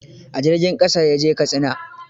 A jirgin ƙasa ya je Katsina.